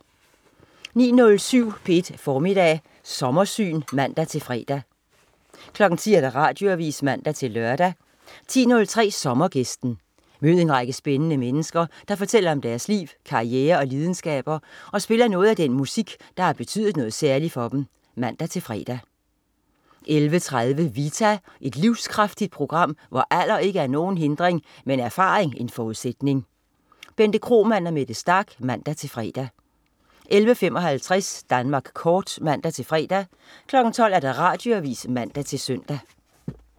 09.07 P1 Formiddag Sommersyn (man-fre) 10.00 Radioavis (man-lør) 10.03 Sommergæsten. Mød en række spændende mennesker, der fortæller om deres liv, karriere og lidenskaber og spiller noget af den musik der har betydet noget særligt for dem (man-fre) 11.30 Vita. Et livskraftigt program, hvor alder ikke er nogen hindring, men erfaring en forudsætning. Bente Kromann og Mette Starch (man-fre) 11.55 Danmark kort (man-fre) 12.00 Radioavis (man-søn)